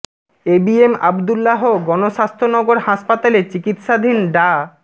এ B M Abdullah Gonoshasthaya Nagar হাসপাতালে চিকিৎসাধীন ডা